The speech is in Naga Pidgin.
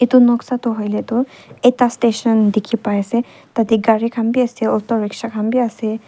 etu noksa toh hoile toh ekta station dikhi pai ase tate gari khan bi ase auto rikshaw khan bi ase.